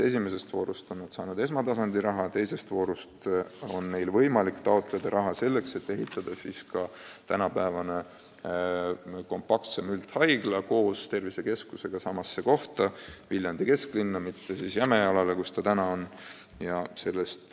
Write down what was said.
Esimeses voorus on nad saanud esmatasandi arendamiseks raha, teises voorus on neil võimalik taotleda raha selleks, et ehitada tänapäevane kompaktsem üldhaigla koos tervisekeskusega Viljandi kesklinnas, mitte Jämejalal, kus see praegu on.